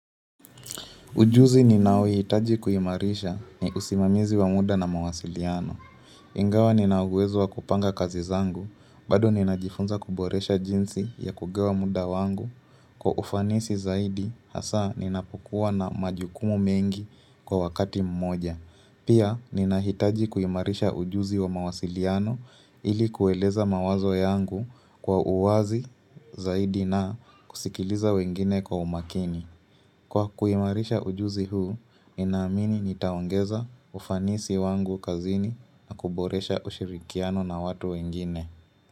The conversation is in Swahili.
Ujuzi ninaohi hitaji kuimarisha ni usimamizi wa muda na mawasiliano. Ingawa ninauwezo wa kupanga kazi zangu, bado ninajifunza kuboresha jinsi ya kugawa muda wangu kwa ufanisi zaidi, hasa ninapokua na majukumu mengi kwa wakati mmoja. Pia, ninahitaji kuimarisha ujuzi wa mawasiliano ili kueleza mawazo yangu kwa uwazi zaidi na kusikiliza wengine kwa umakini. Kwa kuimarisha ujuzi huu, ninaamini nitaongeza ufanisi wangu kazini na kuboresha ushirikiano na watu wengine.